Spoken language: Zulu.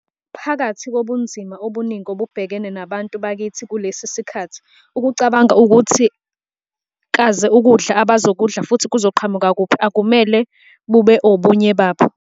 Phakathi kobunzima obuningi obubhekene nabantu bakithi kulesi sikhathi, ukucabanga ukuthi kaze ukudla abazokudla futhi kuzoqhamuka kuphi akumele bube obunye babo.